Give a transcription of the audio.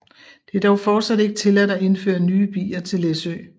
Det er dog fortsat ikke tilladt at indføre nye bier til Læsø